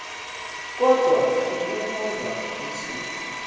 kodwa ikuhkhonza uthixo